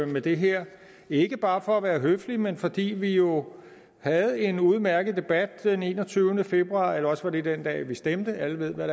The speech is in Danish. med det her ikke bare for at være høflig men fordi vi jo havde en udmærket debat den enogtyvende februar eller også var det den dag vi stemte alle ved hvad